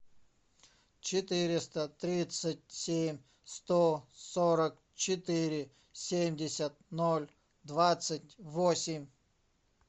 четыреста тридцать семь сто сорок четыре семьдесят ноль двадцать восемь